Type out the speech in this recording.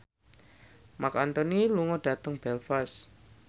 Marc Anthony lunga dhateng Belfast